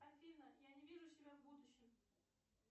афина я не вижу себя в будущем